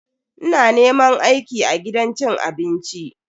Ina neman aiki a gidan cin abinci.